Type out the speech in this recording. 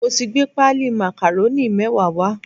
Mo ti gbé páálí màkàrónì mẹ́wàá wá